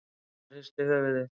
Gunnar hristi höfuðið.